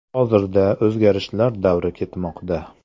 Hozirda o‘zgarishlar davri ketmoqda.